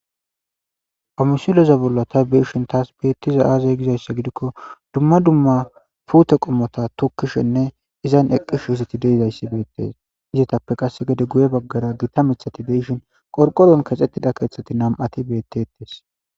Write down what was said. ha misileza bollo ta beishin taas beettiza aazey gizayssa gidikko dumma dumma pute qommota tukkishenne izan eqqish hiziti deidayssi beettes izitappe qasse gede guye baggara gita mithati beshin qorqoron kaxxettida keeththati nam7ati beettettes